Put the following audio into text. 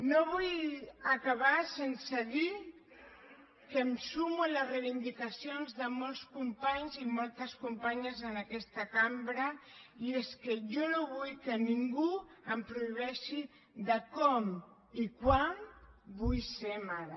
no vull acabar sense dir que em sumo a les reivindicacions de molts companys i moltes companyes en aquesta cambra i és que jo no vull que ningú em prohibeixi com i quan vull ser mare